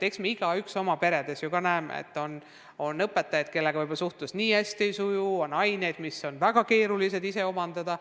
Küllap me näeme ka oma peres, et on õpetajaid, kellega suhtlus nii hästi ei suju, et on aineid, mida on lapsel väga keeruline ise omandada.